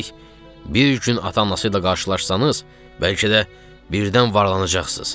Üstəlik, bir gün ata-anası ilə qarşılaşsanız, bəlkə də birdən varlanacaqsız.